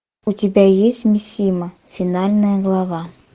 у тебя есть мисима финальная глава